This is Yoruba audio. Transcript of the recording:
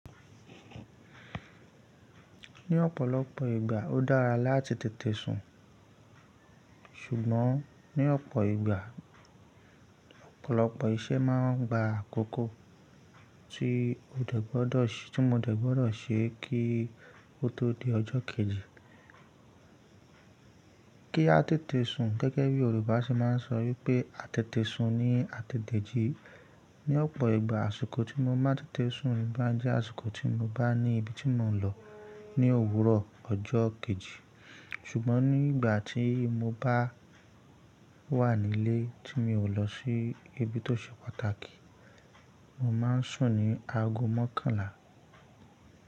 Ní ọ̀pọ̀lọpọ̀ ìgbà ó dára láti tètè sùn, ṣùgbọ́n ní ọ̀pọ̀ ìgbà ọ̀pọ̀lọpọ̀ iṣẹ́ máa ń gba àkókò tí mo dẹ̀ gbọ́dọ̀ ṣe kí o tó di ọjọ́ kejì. Kí a tètè sùn gẹ́gẹ́ bí Yorùbá ṣe máa ń sọ wípé a tètè su ní a tètè jí. Ní ọ̀pọ̀ ìgbà àsìkò tí mo máa n tètè sùn ló bá jẹ́ àsìkò tí mo bá ní ibi tí mò ń lọ ní òwúrọ̀ ọjọ́ kejì. Ṣùgbọ́n nígbà tí mo bá wà nílé tí mi ò lọ sí ibi tó ṣe pàtàkì, mo máa ń sùn ní aago mọ́kànlá.